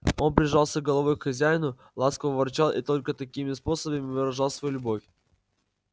он прижимался головой к хозяину ласково ворчал и только такими способами выражал свою любовь